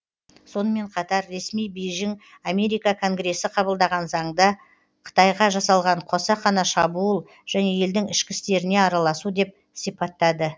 сонымен қатар ресми бейжің америка конгрессі қабылдаған заңды қытайға жасалған қасақана шабуыл және елдің ішкі істеріне араласу деп сипаттады